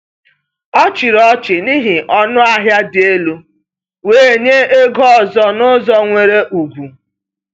O chịrị ọchị n’ihi ọnụahịa dị elu, wee nye ego ọzọ n’ụzọ nwere ugwu.